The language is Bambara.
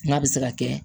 N'a bɛ se ka kɛ